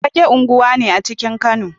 Fagge unguwa ne a cikin Kano